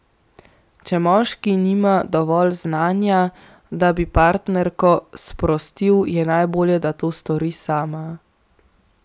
Če moški nima dovolj znanja, da bi partnerko sprostil, je najbolje, da to stori sama.